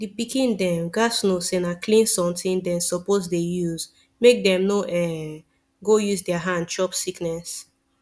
the pikin dem gats know say na clean something dem suppose dey use make dem no um go use their hand chop sickness